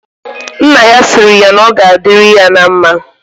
Nna ya sịrị ya na ọ ga adịrị ya na mma